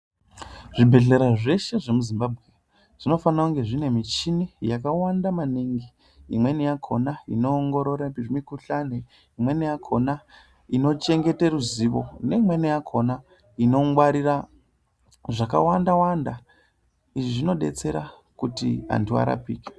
Zvibhedhlera zveshe zvemuZimbabwe zvinofana kunga zvine michini yakawanda maningi. Imweni yakhona inoongorora mikhuhlani ,imweni yakhona inochengete ruzivo neimweni yakhona inongwarira zvakawanda-wanda .Izvi zvinodetsera kuti vanthu varapike.